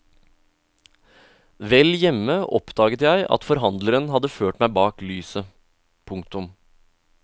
Vel hjemme oppdaget jeg at forhandleren hadde ført meg bak lyset. punktum